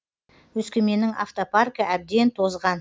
өскеменнің автопаркі әбден тозған